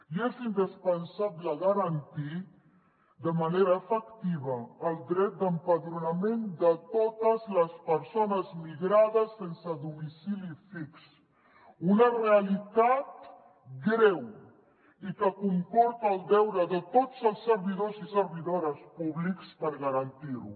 i és indispensable garantir de manera efectiva el dret d’empadronament de totes les persones migrades sense domicili fix una realitat greu i que comporta el deure de tots els servidors i servidores públics per garantir ho